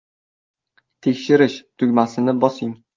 “Tekshirish” tugmasini bosing.